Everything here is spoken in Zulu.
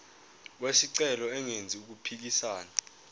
wesicelo engenzi okuphikisana